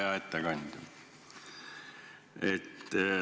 Hea ettekandja!